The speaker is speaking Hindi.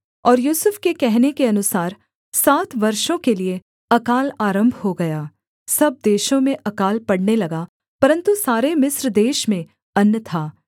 और यूसुफ के कहने के अनुसार सात वर्षों के लिये अकाल आरम्भ हो गया सब देशों में अकाल पड़ने लगा परन्तु सारे मिस्र देश में अन्न था